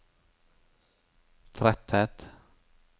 tretthet